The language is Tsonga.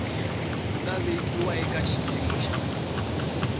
nga vekiwa eka xiyimo xa